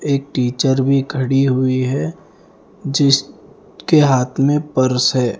एक टीचर भी खड़ी हुई है जिस के हाथ में पर्स है।